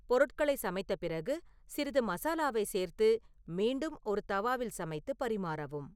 பொருட்களை சமைத்த பிறகு சிறிது மசாலாவை சேர்த்து மீண்டும் ஒரு தவாவில் சமைத்து பரிமாறவும்